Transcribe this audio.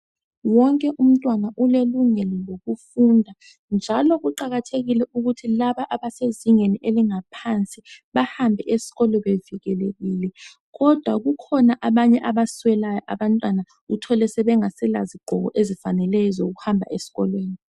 Wonke umntwana ulelungelo lokufunda njalo kuqakathekile ukuthi laba abasezingeni elingaphansi bahambe esikolo bevikelekile kodwa kukhona abanye abaswelayo abantwana uthole sebengasela zigqoko ezifaneleyo ezokuhamba esikolweni .